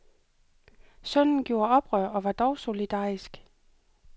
Sønnen gjorde oprør og var dog solidarisk.